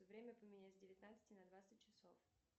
время поменять с девятнадцати на двадцать часов